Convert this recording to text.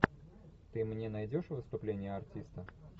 ты мне найдешь выступление артиста